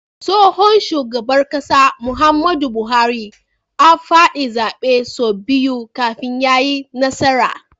Tsohon shugaban ƙasar Muhammadu buhari a fadi zabe sau biyu kafin yayi nasara